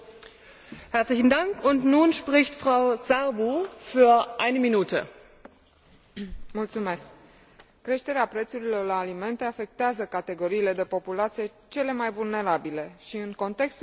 Creșterea prețurilor la alimente afectează categoriile de populație cele mai vulnerabile și, în contextul în care în anul 2010 numărul persoanelor subnutrite în lume atingea cifra de 925 de milioane,